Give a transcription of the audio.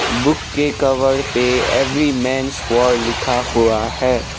Book के cover पे every men's for लिखा हुआ है।